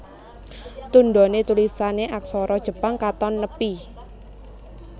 Tundhoné tulisané aksara Jepang katon nepi